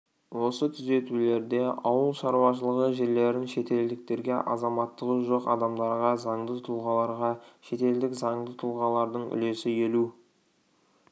осы түзетулерде ауыл шаруашылығы жерлерін шетелдіктерге азаматтығы жоқ адамдарға заңды тұлғаларға шетелдік заңды тұлғалардың үлесі елу